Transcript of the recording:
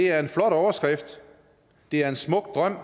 er en flot overskrift det er en smuk drøm